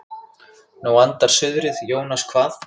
Nú andar suðrið Jónas kvað.